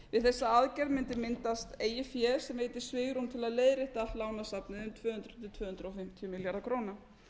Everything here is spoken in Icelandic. við þess aðgerð mundi myndast eigið fé sem yki svigrúm til að leiðrétta allt lánasafnið um tvö hundruð til tvö hundruð fimmtíu milljarða króna